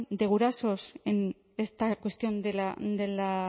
de gurasos en esta cuestión de la